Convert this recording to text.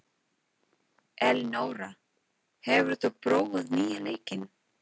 Elenóra, hefur þú prófað nýja leikinn?